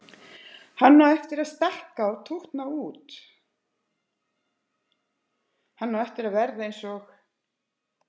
Hann á eftir að stækka og tútna út, hann á eftir að verða eins og